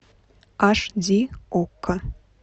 аш ди окко